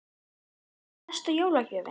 Hugrún: Besta jólagjöfin?